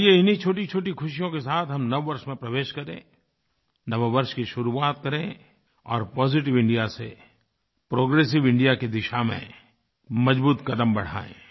आइए इन्हीं छोटीछोटी खुशियों के साथ हम नववर्ष में प्रवेश करें नववर्ष की शुरूआत करें और पॉजिटिव इंडिया से प्रोग्रेसिव इंडिया की दिशा में मजबूत कदम बढ़ाएँ